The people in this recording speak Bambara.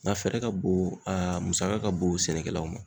Nka fɛrɛ ka bon, a musaka ka bon sɛnɛkɛlaw ma.